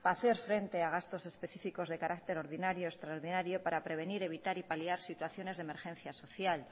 para hacer frente a gastos específicos de carácter ordinario extraordinario para prevenir evitar y paliar situaciones de emergencia social